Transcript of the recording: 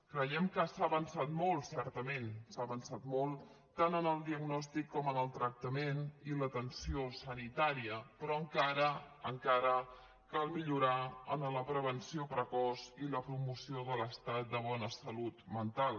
creiem que s’ha avançat molt certament s’ha avançat molt tant en el diagnòstic com en el tractament i l’atenció sanitària però encara encara cal millorar en la prevenció precoç i la promoció de l’estat de bona salut mental